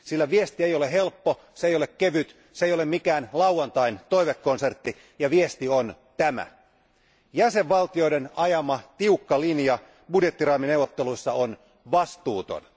Sillä viesti ei ole helppo, se ei ole kevyt, se ei ole mikään lauantain toivekonsertti, ja viesti on tämä Jäsenvaltioiden ajama tiukka linja budjettiraamineuvotteluissa on vastuuton.